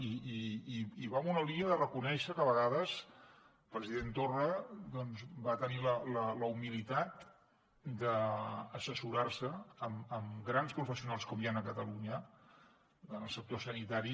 i va en una línia de reconèixer que a vegades el president torra doncs va tenir la humilitat d’assessorar se amb grans professionals com hi han a catalunya en el sector sanitari